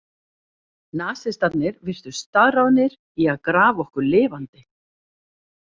Nasistarnir virtust staðráðnir í að grafa okkur lifandi.